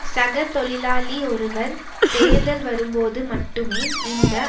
சக தொழிலாளி ஒருவர் தேர்தல் வரும்போது மட்டுமே இந்த